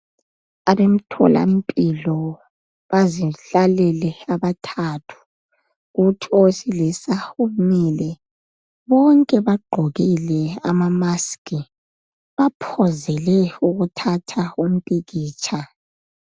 Abemthola mpilo bazihlalele abathathu kuthi owesilisa umile bonke bagqokile amamusk baphozele ukuthatha umpikitsha